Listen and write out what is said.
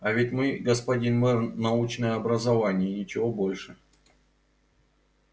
а ведь мы господин мэр научное образование и ничего больше